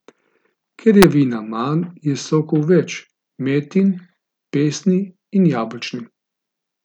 Ker je vina manj, je sokov več, metin, pesni in jabolčni.